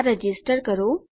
આ રજીસ્ટર કરો